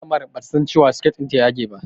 Malamar bata san cewa siket ɗinta a yage yake ba